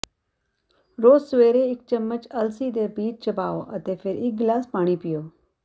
ਰੋਜ਼ ਸਵੇਰੇ ਇੱਕ ਚੱਮਚ ਅਲਸੀ ਦੇ ਬੀਜ ਚਬਾਓ ਅਤੇ ਫ਼ਿਰ ਇੱਕ ਗ਼ਿਲਾਸ ਪਾਣੀ ਪੀਓ